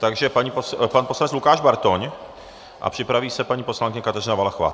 Takže pan poslanec Lukáš Bartoň a připraví se paní poslankyně Kateřina Valachová.